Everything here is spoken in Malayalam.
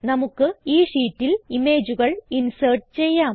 നമുക്ക് ഈ ഷീറ്റിൽ ഇമേജുകൾ ഇൻസേർട്ട് ചെയ്യാം